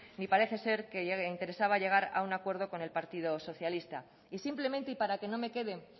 ni parece ser que le interesaba llegar a un acuerdo con el partido socialista y simplemente y para que no me quede